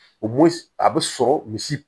O a bɛ sɔrɔ misi